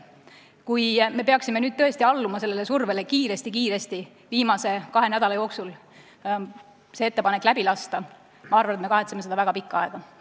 Kui me peaksime tõesti alluma sellele survele kiiresti-kiiresti viimase kahe nädala jooksul see ettepanek läbi lasta, siis ma arvan, et me kahetseme seda väga pikka aega.